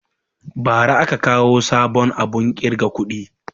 Bara aka kawo sabon abun ƙirga kuɗi